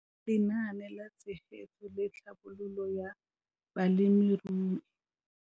Lenaane la Tshegetso le Tlhabololo ya Balemirui